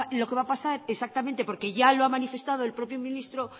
lo que va a pasar exactamente porque ya lo ha manifestado el propio ministro